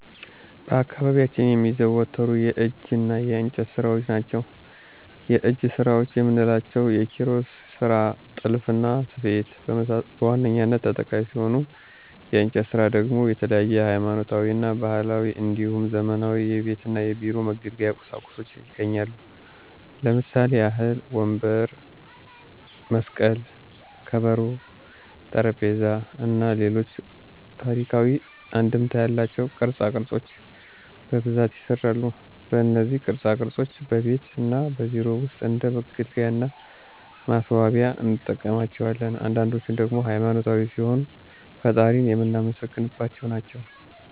በአካባቢያችን የሚዘወተሩ የእጅ እና የእንጨት ስራዎች ናቸው። የእጅ ስራዎች የምንላቸው የኪሮሽ ስራ፣ ጥልፍና ስፌት በዋነኛነት ተጠቃሽ ሲሆኑ የእንጨት ስራ ደግሞ የተለያዩ ሀይማኖታዊ እና ባህላዊ እንዲሁም ዘመናዊ የቤት እና የቢሮ መገልገያ ቁሳቁሶች ይገኛሉ። ለምሳሌ ያህልም መስቀል፣ ከበሮ፣ ወንበር፣ ጠረጴዛ እና ሌሎች ታሪካዊ አንድምታ ያላቸው ቅርፃ ቅርፆች በብዛት ይሰራሉ። እነዚህ ቅርፃ ቅርፆች በቤት እና በቢሮ ውስጥ እንደ መገልገያ እና ማስዋቢያነት እንጠቀምባቸዋለን። አንዳንዶችን ደግሞ ሃይማኖታዊ ሲሆኑ ፈጣሪን የምናመሰግንባቸው ናቸው።